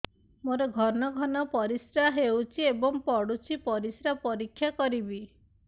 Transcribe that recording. ମୋର ଘନ ଘନ ପରିସ୍ରା ହେଉଛି ଏବଂ ପଡ଼ୁଛି ପରିସ୍ରା ପରୀକ୍ଷା କରିବିକି